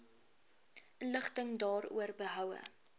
inligting daaroor behoue